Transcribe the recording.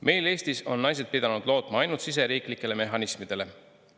Meil Eestis on naised pidanud lootma ainult siseriiklikele mehhanismidele.